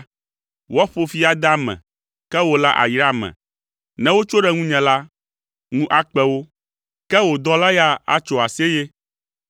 Woaƒo fi ade ame, ke wò la àyra ame, ne wotso ɖe ŋunye la, ŋu akpe wo, ke wò dɔla ya atso aseye.